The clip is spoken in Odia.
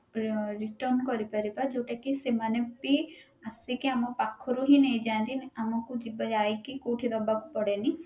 ର return କରିପାରିବା ଯୋଉଟା କି ସେମାନେ ବି ଆସିକି ଆମ ପାଖରୁ ହିଁ ନେଇଯାନ୍ତି ଆମକୁ ଯିବା ଯାଇକି କୋଉଠି ଦବାକୁ ପଡେନି